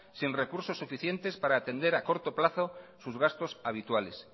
sin recursos suficientes para atender a corto plazo sus gastos habituales